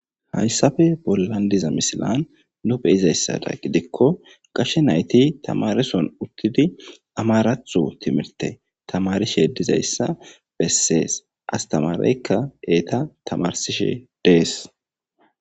Hayssafe bolandiza misilan nu beyizayssada gidikko qashe nayti tamareson uttidi amarathu timirte tamarishe dizayssa bessees astamaraykka eeta tamarsishe dees